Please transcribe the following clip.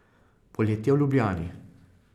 Poletje v Ljubljani.